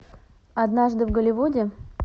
однажды в голливуде